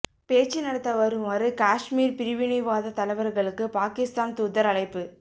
பேச்சு நடத்த வருமாறு காஷ்மீர் பிரிவினைவாத தலைவர்களுக்கு பாகிஸ்தான் தூதர் அழைப்பு